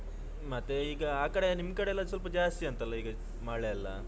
ಮತ್ತೆ ಈಗ ಆಕಡೆ ನಿಮ್ ಕಡೆ ಸ್ವಲ್ಪ ಜಾಸ್ತಿ ಅಂತಲ್ಲಾ ಈಗ ಮಳೆ ಎಲ್ಲಾ.